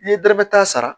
N'i ye dɔrɔmɛ tan sara